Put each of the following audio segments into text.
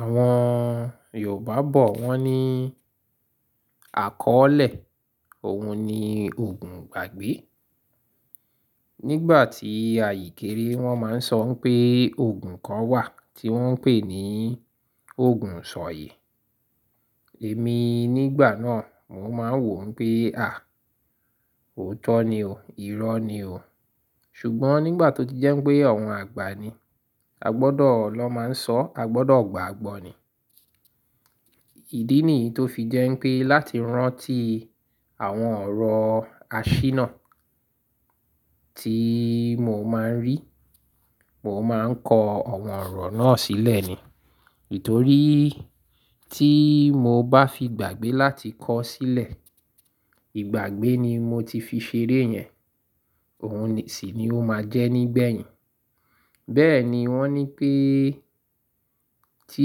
Àwọn Yorùbá bọ̀ wọ́n ní àkọ́ọ́lẹ̀, òhun ni oogùn ìgbàgbé. Nígbà tí àyè kéré wọ́n máa ń sọ pé òogùn kan wà tí wọ́n ń pè ní oogùn isọ̀yè. Èmi nígbà náà mo máa ń wó n pé à, òótọ́ ni o, ìrọ́ ni o. Ṣùgbọ́n nígbà tó ti jẹ́ pé àwọn àgbà ni a gbọ́dọ̀ lọ máa ń sọ̀, a gbọ́dọ̀ gbaàgbọ́ ni. Ìdí nìyí tó fi jẹ́ pé láti rántí àwọn ọ̀rọ̀ àṣínà tí mo máa ń rí, mo máa ń kọ àwọn ọ̀rọ̀ náà sílẹ̀ ni. Ítorí tí mo bá fiì gbàgbé láti kọ ọ́ sílẹ̀, ìgbàgbé ni mo ti fi ṣeré yẹn, òhun sì ni ó máa jẹ́ nígbẹ̀yìn. Bẹ́ẹ̀ ni wọ́n ní pé tí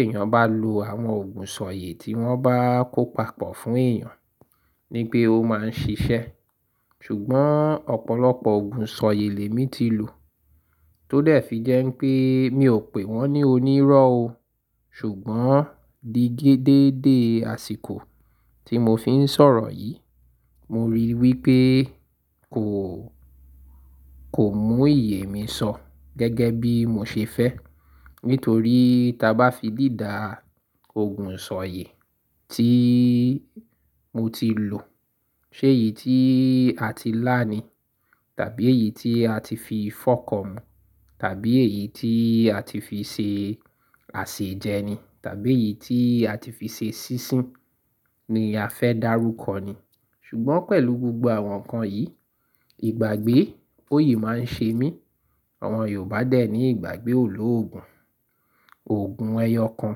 èèyàn bá lo àwọn oogùn isọ̀yè tí wọ́n bá kó papọ̀ fún èèyàn ní pé ó máa ń ṣiṣẹ́. Ṣùgbọ́n ọ̀pọ̀lọpọ̀ Òogùn isọ̀yè lèmi ti lò tó dẹ̀ fi jẹ́ n pé mi ò pè wọ́n ní onírọ́ o. Ṣùgbọ́n digi deede àsìkò tí mo fi ń sọ̀rọ̀ yìí, mo ríi wí pé kò, kò mú ìyè mi sọ gẹ́gẹ́ bí mo ṣe fẹ́. Nítorí tí a bá fi dìda Òogùn sọ̀yè tí mo ti lò, ṣé èyí tí a ti lá ni? Tàbí èyí tí a ti fi fọko mú? Tàbí èyí tí a ti fi ṣe àsèjẹ ni? Tàbí èyí tí a ti fi ṣe sísun ni a fẹ́ dárúkọ ni? Ṣùgbọ́n pẹ̀lú gbogbo àwọn nǹkan yìí, ìgbàgbé oyè máa ń ṣe mí. Àwọn Yorùbá dẹ̀ ní ìgbàgbé ò lòògùn. Òogùn ẹyọkan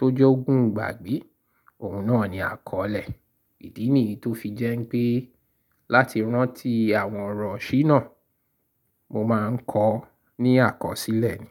tó je ọ́ogùn ìgbàgbé, òhun náà ni àkọ́ọ́lẹ̀. Ìdí nìyí tó fi jẹ́ n pé láti rántí àwọn ọ̀rọ̀ iṣíná, mo máa ń kọ ọ́ ní àkọsílẹ̀ ni.